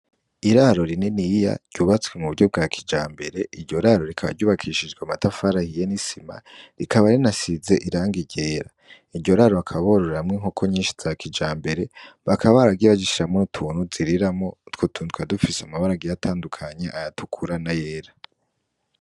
Iraro rininiya ryubatswe mu buryo bwa kijambere, iryo raro rikaba ryubakishijwe amatari ahiye n'isima rikaba rinasize irangi ryera, iryo raro bakaba bororeramwo inkoko nyinshi za kijambere, bakaba baragiye bazishiramwo utuntu ziriramwo, utwo tuntu tukaba dufise amabara agiye atandukanye, ayatukura n'ayera.